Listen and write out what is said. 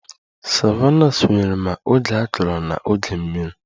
Savannahs nwere ma oge akọrọ na oge mmiri